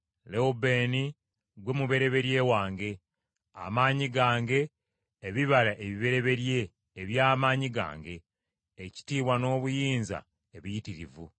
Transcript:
Lewubeeni ggwe mubereberye wange, amaanyi gange, ebibala ebibereberye eby’amaanyi gange, ekitiibwa n’obuyinza ebiyitirivu.